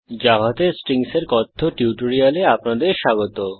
জাভাতে স্ট্রিংসের কথ্য টিউটোরিয়ালে আপনাদের স্বাগত